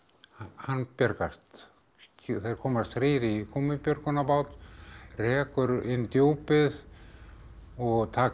hann bjargast þeir komast þrír í gúmmíbjörgunarbát rekur inn Djúpið og taka